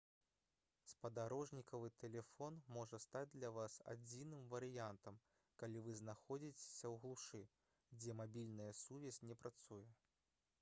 спадарожнікавы тэлефон можа стаць для вас адзіным варыянтам калі вы знаходзіцеся ў глушы дзе мабільная сувязь не працуе